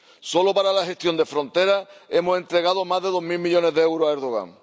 Solo para la gestión de fronteras hemos entregado más de dos mil millones de euros a Erdogan.